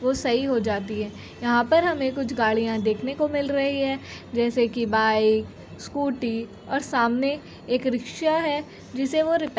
वो सही हो जाती है। यहाँ पर हमें कुछ गाड़ियां देखने को मिल रही है जैसे कि बाइक स्कूटी और सामने एक रिक्शा है जिसे वो रिपेयर --